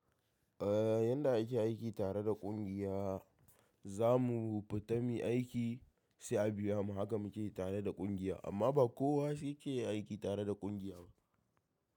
Eh yanda ake aiki tare da ƙungiya zamu fita muyi aiki sai a biya mu haka muke yi tare da ƙungiya amma ba kowa yake yin aiki tare da ƙungiya ba.